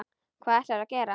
Hvað ætlarðu að gera?